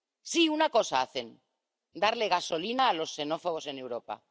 Sí, hacen una cosa darle gasolina a los xenófobos en Europa.